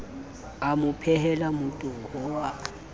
a mo phehela motoho wa